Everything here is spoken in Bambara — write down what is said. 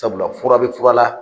Sabula, fura bɛ fural .